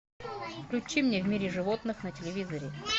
включи мне в мире животных на телевизоре